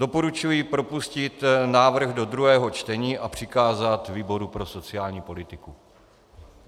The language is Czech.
Doporučuji propustit návrh do druhého čtení a přikázat výboru pro sociální politiku.